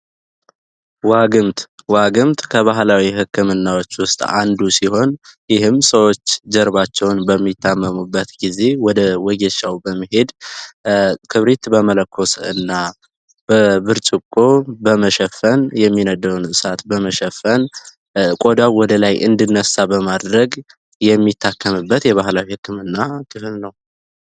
ዋግምት ከባህላዊ ሕክምናዎች ውስጥ አንዱ ሲሆን ይህም ሰዎች ጀርባቸውን በሚታመሙበት ጊዜ ወደ ወጌሻው በመሄድ ክብሪት በመለኮስህና በብርጭቆ በመሸፈን የሚነደውን እሳት በመሸፈን ቆዳው ወደላይ እንድነሣ በማድረግ የሚታክምበት የባህላዊ ሕክምና ክልል ነው።